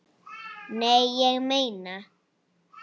Nei, ég meina.